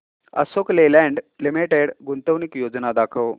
Ashok Leyland limited गुंतवणूक योजना दाखव